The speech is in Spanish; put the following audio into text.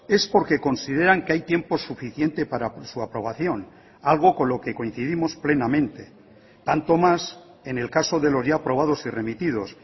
es porque consideran que hay tiempo suficiente para su aprobación algo con lo que coincidimos plenamente tanto más en el caso de los ya aprobados y remitidos